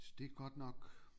Så det er godt nok